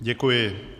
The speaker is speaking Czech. Děkuji.